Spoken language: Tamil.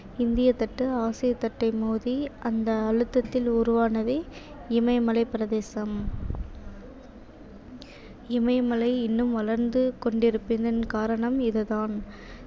இந்திய தட்டு ஆசிய தட்டை மோதி அந்த அழுத்தத்தில் உருவானதே இமயமலைப் பிரதேசம் இமயமலை இன்னும் வளர்ந்து கொண்டிருப்பதன் காரணம் இது தான்.